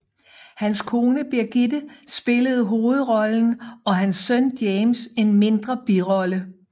Hans kone Birgitte spillede hovedrollen og hans søn James en mindre birolle